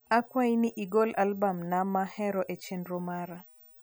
akwai ni igol albam na ma ahero e chenro mara